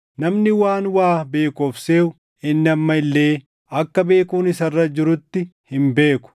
Namni waan waa beeku of seʼu inni amma illee akka beekuun isa irra jirutti hin beeku.